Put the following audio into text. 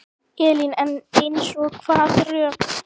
Elín: En eins og hvaða rök?